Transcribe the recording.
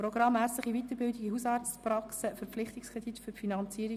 Die GSoK hat dieses Geschäft vorberaten.